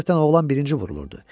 Adətən oğlan birinci vurulurdu.